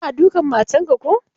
Kana dukan matan ka ko?